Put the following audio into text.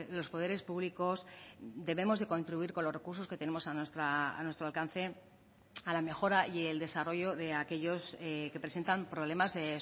los poderes públicos debemos de contribuir con los recursos que tenemos a nuestro alcance a la mejora y el desarrollo de aquellos que presentan problemas de